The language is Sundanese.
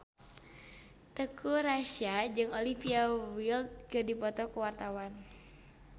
Teuku Rassya jeung Olivia Wilde keur dipoto ku wartawan